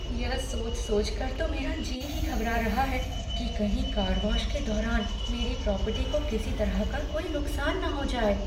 यह सोच सोचकर तो मेरा जी ही घबरा रहा है कि कहीं कार वॉश के दौरान मेरी प्रॉपर्टी को किसी तरह का कोई नुकसान ना हो जाए।